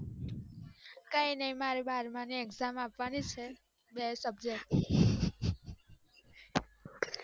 કઈ ની મારે બાર માની exam આપવાની છે fail ની